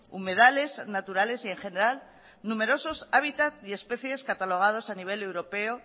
humedales naturales y en general numerosos hábitat y especies catalogados a nivel europeo